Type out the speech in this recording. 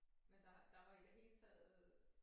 Men der der var i det hele taget